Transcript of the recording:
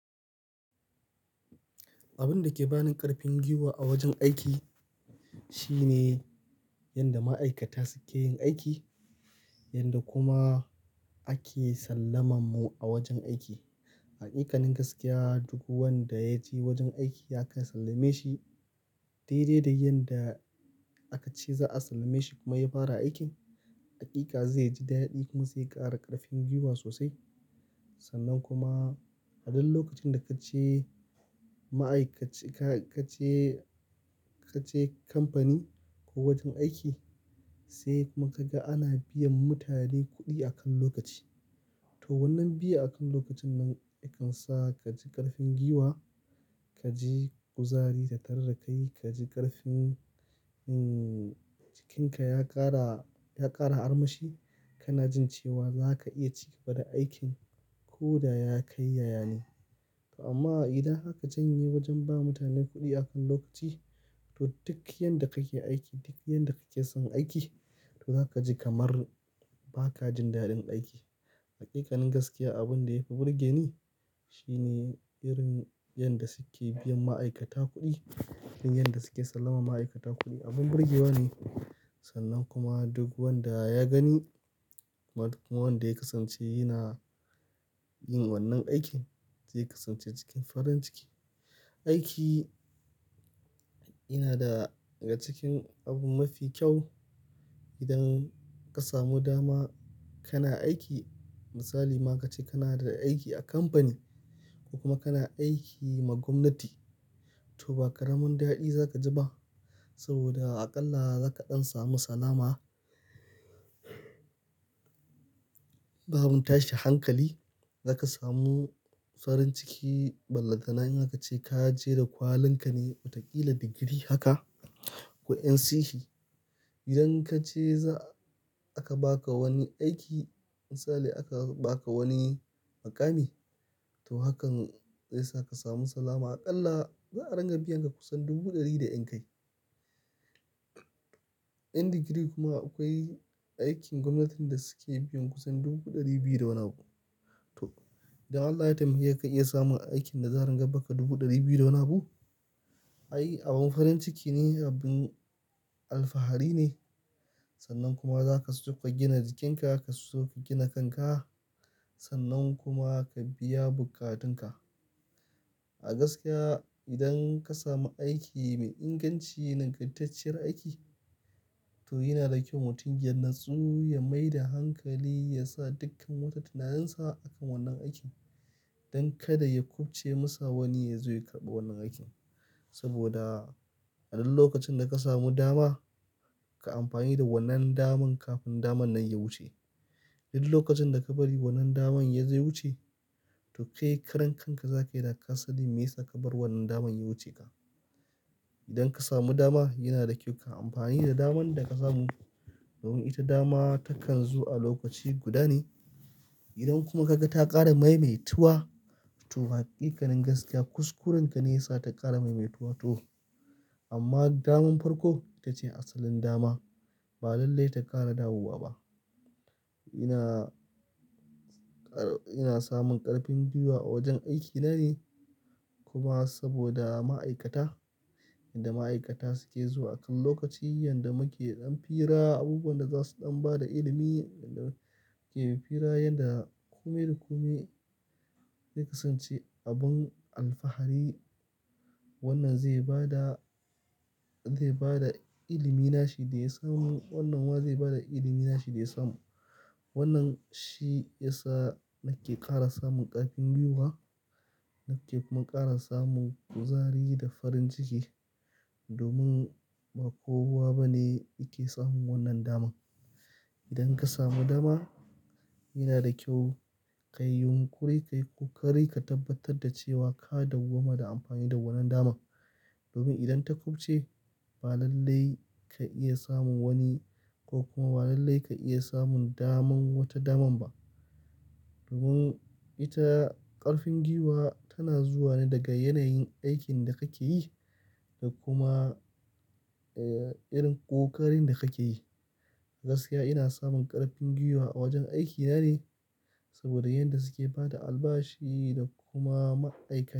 Abun da ke bani ƙarfin gwiwa a wajen aiki shine yanda ma'aikata suke yin aiki, yanda kuma ake sallaman mu a wajen aiki. Hakikanin gaskiya duk wanda ya je wajen aiki aka sallame shi dai dai da yanda aka ce za'a sallame shi kuma ya fara aikin. Hakika zai ji daɗi kuma zai ƙara ƙarfin gwiwa sosai. Sannan kuma a duk lokacin da ka je ma'aikaci-- ka je, ka je kamfani ko wajen aiki sai kuma ka ga ana biyan mutane kuɗi akan lokaci. To wannan biya akan lokacin nan ya kan sa ka ji ƙarfin gwiwa, ka ji kuzari da tarrakai, ka ji ƙarfin, umm, jikinka ya ƙara, ya ƙara armashi. Kana jin cewa zaka iya cigaba da aikin ko da ya kai yayane. Amma idan aka janye wajen ba mutane kuɗi akan lokaci, to duk yanda kake aiki, duk yanda kake son aiki to za ka ji kamar ba ka jin daɗin aiki. Hakikanin gaskiya abin da ya fi burge ni shine irin yanda suke biyan ma'aikata kuɗi. Irin yadda suke sallama ma'aikata kuɗi, abin burgewa ne. Sannan kuma duk wanda ya gani wato kuma wanda ya kasance yana yin wannan aikin zai kasance cikin farin ciki. Aiki yana daga cikin abu mafi kyau idan ka samu dama kana aiki. Misali ma ka ce kana da aiki a kamfani ko kuma kana aiki ma gwamnati. To ba ƙaramin daɗi za ka ji ba saboda aƙalla za ka ɗan samu salama. Ba wani tashi hankali, za ka samu farin ciki ballantana in aka ce ka je da kwalin ka ne watakila digiri haka ko NCE. Idan ka je za aka baka wani aiki misali aka baka wani muƙami to hakan zai sa ka samu salama. Aƙalla za a ringa biyan ka kusan dubu ɗari da ƴan kai. Ƴan digiri kuma akwai aikin gwamnatin da suke biyan kusan dubu ɗari biyu da wani abu. To idan Allah ya taimake ka iya samun aikin da za'a ringa biyanka dubu ɗari biyu da wani abu. Ai abin farin ciki ne, abin alfahari ne. Sannan kuma zaka so ka gina jikinka, kaso ka gina kanka sannan kuma ka biya bukatunka. A gaskiya idan ka samu aiki mai inganci nagartacciyar aiki to yina da kyau mutum ya natsu ya mai da hankali ya sa dukkan wata tunarinsa akan wannan aikin don kada ya kubce masa wani ya zo ya karɓi wannan aikin. Saboda a duk lokacin da ka samu dama, kai amfani da wannan daman kafin daman nan ya wuce. Duk lokacin da ka bari wannan daman ya zo ys wuce to kai karan kanka za ka yi da kasanin me yasa ka bar wannan daman ya wuce ka. Idan ka samu dama yana da kyau kai amfani da daman da ka samu domin ita dama takan zo a lokaci guda ne. Idan kuma ka ga ta ƙara maimaituwa to hakikanin gaskiya kuskuren ka ne ya sa ta ƙara maimaituwa toh. Amma daman farko ita ce asalin dama ba lallai ta ƙara dawowa ba. Ina, ina samun ƙarfin gwiwa a wajen aikina ne. Kuma saboda ma'aikata, yanda ma'aikata suke zuwa akan lokaci, yanda muke ɗan fira, abubuwan da za su ɗan ba da ilimi, yanda muke fira, yanda kome da kome zai kasance abin alfahari. Wannan zai ba da, zai ba da ilimi nashi da ya samu. Wannan ma zai ba da ilimi nashi da ya samu. Wannan shi ya sa nake ƙara samun ƙarfin gwiwa nake kuma ƙara samun kuzari da farin ciki domin ba kowa bane yake samun wannan daman. Idan ka samu dama yana da kyau ka yi yunƙuri kai kokari ka tabbatar da cewa ka dawwama da amfani da wannan daman. Domin idan ta kubce ba lallai ka iya samun wani ko kuma ba lallai ka iya samun daman wata daman ba. Domin ita ƙarfin gwiwa tana zuwa ne daga yanayin aikin da kake yi da kuma, eh, irin ƙoƙarin da kake yi. A gaskiya ina samun ƙarfin gwiwa a wajen aikina ne saboda yanda suke bada albashi da kuma ma'aikata.